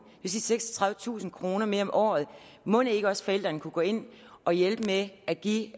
seksogtredivetusind kroner mere om året mon ikke også forældrene kunne gå ind og hjælpe med at give